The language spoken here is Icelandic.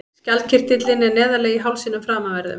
Skjaldkirtillinn er neðarlega í hálsinum framanverðum.